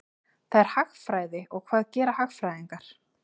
Hvað er hagfræði og hvað gera hagfræðingar?